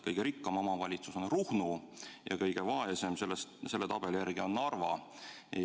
Kõige rikkam omavalitsus on Ruhnu ja kõige vaesem on selle tabeli järgi Narva.